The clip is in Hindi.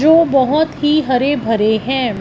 जो बहोत ही हरे भरे हैं।